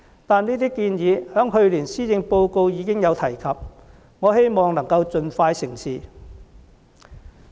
但是，這些建議在去年施政報告已有提及，我希望能夠盡快成事。